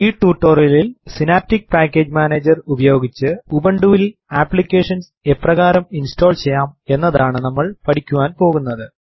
ഈ ടൂട്ടോറിയലിൽ synaptic package manager ഉപയോഗിച്ച് ഉബുണ്ടുവിൽ ആപ്ലിക്കേഷൻസ് എപ്രകാരം ഇൻസ്റ്റോൾ ചെയ്യാം എന്നതാണ് നമ്മൾ പഠിക്കുവാൻ പോകുന്നത്